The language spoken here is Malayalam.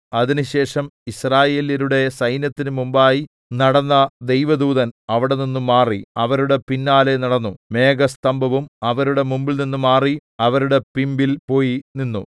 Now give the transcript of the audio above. അതിനുശേഷം യിസ്രായേല്യരുടെ സൈന്യത്തിനു മുമ്പായി നടന്ന ദൈവദൂതൻ അവിടെനിന്ന് മാറി അവരുടെ പിന്നാലെ നടന്നു മേഘസ്തംഭവും അവരുടെ മുമ്പിൽനിന്ന് മാറി അവരുടെ പിമ്പിൽ പോയി നിന്നു